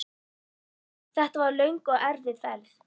Þetta var löng og erfið ferð.